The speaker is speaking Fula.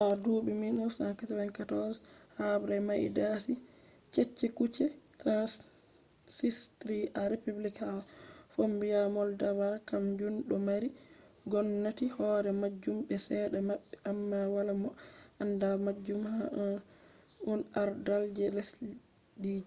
ha duɓi 1994 habbre mai dasi cecekuce transnsistri a republic ha fombina moldova kam jun do mari gomnati hore majun be cede mabbe amma wala mo anda majun ha un ardal je lesdiji